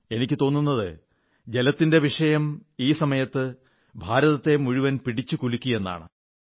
എനിക്കു തോന്നുന്നത് ജലത്തിന്റെ വിഷയം ഈ സമയത്ത് ഭാരതത്തെ മുഴുവൻ പിടിച്ചു കുലുക്കിയെന്നാണ്